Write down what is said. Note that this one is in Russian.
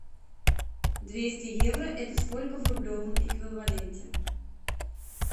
двести евро это сколько в рублевом эквиваленте